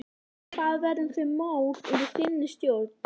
Hvað verður um þau mál undir þinni stjórn?